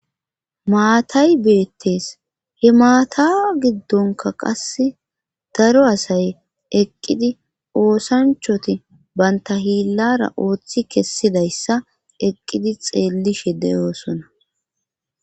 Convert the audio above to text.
Maatay beettees he maata giddonka qass daro asay eqqidi oosanchoti banta hiillara ooththi kessidayssa eqqidi xeelli shedeyoosona.